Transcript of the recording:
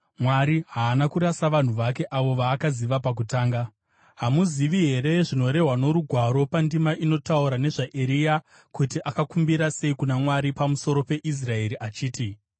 Mwari haana kurasa vanhu vake, avo vaakaziva pakutanga. Hamuzivi here zvinorehwa noRugwaro pandima inotaura nezvaEria, kuti akakumbira sei kuna Mwari pamusoro peIsraeri achiti,